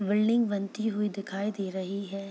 Building बनती हुई दिखाई दे रही है।